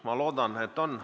Ma loodan, et on.